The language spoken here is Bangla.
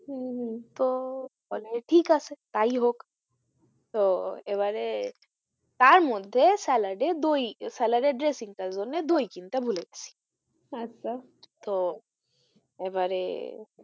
হম হম তো বলে ঠিক আছে তাই হোক তো এবারে তার মধ্যে স্যালাডে দই স্যালাডে dressing তার জন্যে দই কিনতে ভুলে গেছি আচ্ছা তো এবারে,